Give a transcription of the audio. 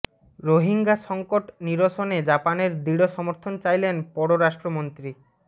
রোহিঙ্গা সংকট নিরসনে জাপানের দৃঢ় সমর্থন চাইলেন পররাষ্ট্রমন্ত্রী ড